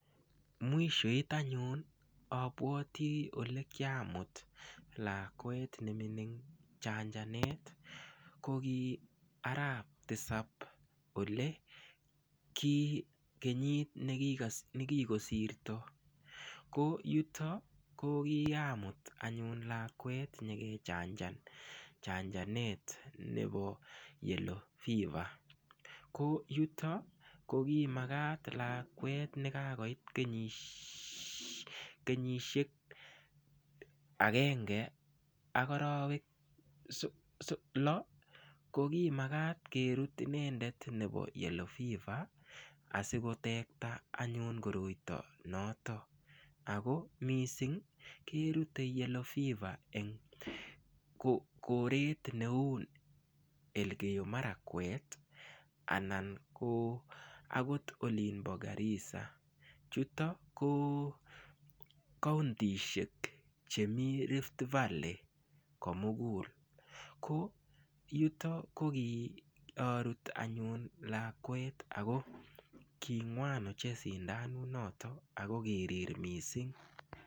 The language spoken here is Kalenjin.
Mwishoit anyun apwoti ole kiamut lakwet neming' chanjanet ko ki arap tisap ole ki kenyit nekigosirto ko yutok ko kiamut anyun lakwet nyikechanjan chanjanet nepo Yellow fever ko yutok ko ki makat lakwet nekakoit kenyisiek agenge ak arawek low ko ki makat kerut inendet nepo Yellow fever asikotekta anyun koroito notok ako mising' kerute Yellow fever koret neu Elgeyo marakwet anan ko akot olimbo Garissa chutok ko kauntishek chemii Rift valley komugul ko yutok ko kiarut anyun lakwet ako king'wan ochey sindanut notok ako kirir mising'.